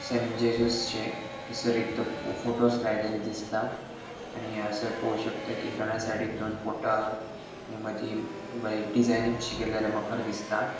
हयसर एक ते फ़ोटोज़ लायलेले दिसता आणि हांगसर पोळो शकता कि दोनाय साइडीक दोन फोटो आहत नी मदी बरी डिझायनिंग कशी केल्लेली मखर कशी दिसता.